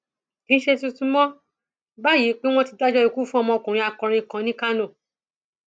kì í ṣe tuntun mọ báyìí pé wọn ti dájọ ikú fún ọmọkùnrin akọrin kan ní kánò